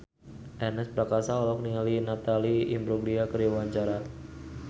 Ernest Prakasa olohok ningali Natalie Imbruglia keur diwawancara